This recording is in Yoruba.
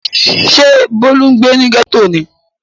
Ṣé Bólú ń gbé ní gẹ́tò ni?